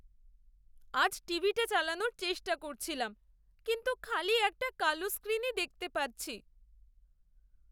আজ টিভিটা চালানোর চেষ্টা করছিলাম, কিন্তু খালি একটা কালো স্ক্রিনই দেখতে পাচ্ছি।